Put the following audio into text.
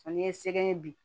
N'i ye sɛgɛn bi